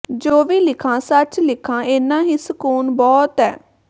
ਜੋ ਵੀ ਲਿਖਾਂ ਸੱਚ ਲਿਖਾਂ ਏਨਾ ਹੀ ਸਕੂਨ ਬਹੁਤ ਏ